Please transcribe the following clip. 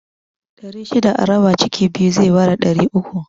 Ɗari shida a raba ciki biyu zai bada ɗari uku